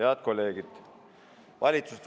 Head kolleegid!